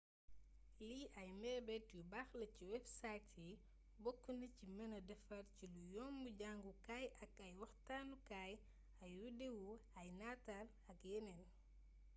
lii ay meebeet yu baax la ci websites yi boknaci meenee défar cilu yomb jangukaay ak ay waxtaanu kaay ay widewo ay natal ak yénéén